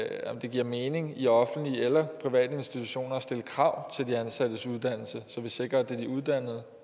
det giver mening i offentlige eller private institutioner at stille krav til de ansattes uddannelse så vi sikrer at det er de uddannede